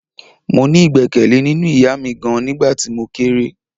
Mo ní igbekele nínú ìyá mi gan-an nígbà tí mo kéré.